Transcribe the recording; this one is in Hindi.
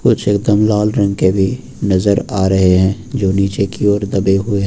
कुछ एकदम लाल रंग के भी नजर आ रहे हैं जो नीचे की ओर दबे हुए हैं।